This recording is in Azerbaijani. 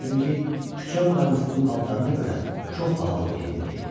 Çünki küçə müğənnisinin paltarına görə çox bahalı geyimdə idi.